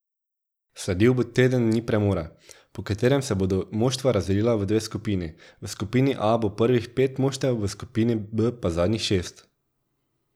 Sledil bo teden dni premora, po katerem se bodo moštva razdelila v dve skupini, v skupini A bo prvih pet moštev, v B pa zadnjih šest.